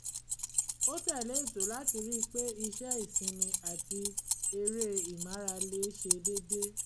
ó tẹ̀lé ètò láti ri pé iṣẹ́ ìsinmi àti eré ìmárale ṣe dédé